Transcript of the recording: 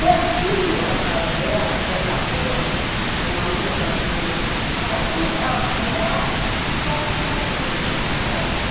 Pertíssimo da casa dela, dessa rua, em uma rua que era meio transversal, morava o Celso Teles, que era o chefe do Dops.